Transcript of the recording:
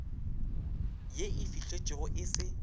ye e fihletšwego e se